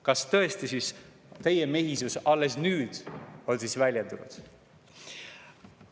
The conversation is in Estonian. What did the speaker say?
Kas tõesti on teie mehisus alles nüüd väljendunud?